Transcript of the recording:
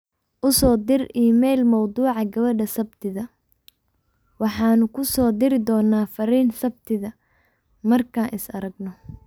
u soo dir iimayl mawduuca gabadha sabtida, waxaanu kuu soo diri doonaa fariin sabtida, markaa is aragno